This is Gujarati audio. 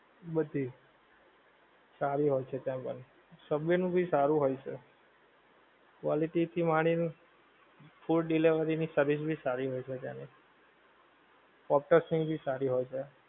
બધી, સારી હોએ છે ત્યાં આગળ, subway નું ભી સારું હોએ છે, quality થી માની ને, food delivery ની service ભી સારી હોએ છે ત્યાં આગળ, ઑક્ટ્સ ની ભી સારી હોએ છે